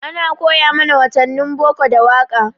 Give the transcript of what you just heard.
Ana koya mana watannin boko da waƙa.